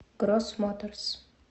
гросс моторс